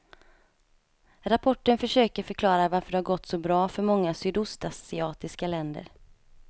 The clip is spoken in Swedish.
Rapporten försöker förklara varför det har gått så bra för många sydostasiatiska länder.